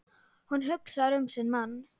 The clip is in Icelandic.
Hún hugsar um sinn mann.